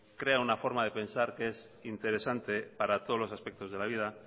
crea una forma de pensar que es interesante para todos los aspectos de la vida